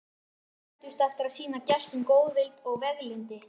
Borgarbúar kepptust eftir að sýna gestum góðvild og veglyndi.